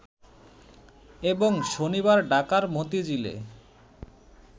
এবং শনিবার ঢাকার মতিঝিলে